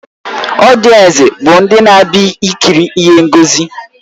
Ọdiensi bụ ndị na-abịa ikiri ihe ngosi